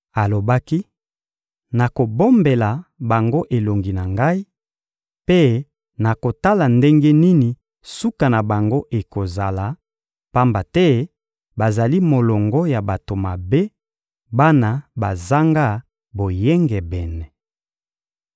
Alobaki: «Nakobombela bango elongi na Ngai, mpe nakotala ndenge nini suka na bango ekozala, pamba te bazali molongo ya bato mabe, bana bazanga boyengebene.